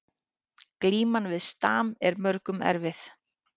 Glíman við stam er mörgum erfið